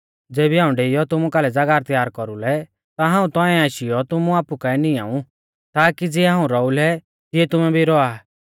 ज़ेबी हाऊं डेइऔ तुमु कालै ज़ागाह त्यार कौरुलै ता हाऊं तौंइऐ आशीयौ तुमु आपु काऐ निआंऊ ताकी ज़िऐ हाऊं रौउलै तिऐ तुमै भी रौआ